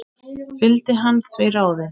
Fylgdi hann því ráði.